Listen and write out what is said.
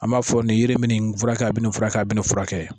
An b'a fɔ nin yiri in bɛ nin fura kɛ a bɛ nin fura kɛ a bɛ nin fura kɛ